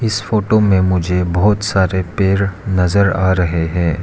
इस फोटो में मुझे बहुत सारे पेड़ नजर आ रहे हैं।